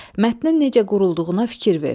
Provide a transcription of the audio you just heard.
Mətinin necə qurulduğuna fikir ver.